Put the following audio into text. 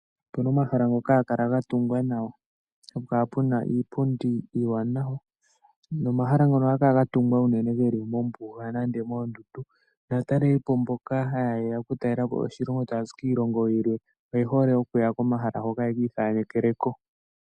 Opuna omahala ngoka hagakala gatungwa nawa, hapukala puna iipundi iiwanawa, nomahala ngoka ohagakala gatungwa uunene geli mombuga nenge moondundu, naataleli po mboka hayeya okutalela po oshilongo taya zi kiilongo yilwe oyehole okuya komahala ngoka yeki ikalekeleko.